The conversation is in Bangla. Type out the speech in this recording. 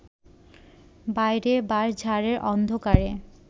বাইরে বাঁশঝাড়ের অন্ধকারে